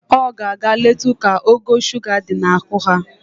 O ga-aga letu ka ogo shuga di ya n'ahụ haa.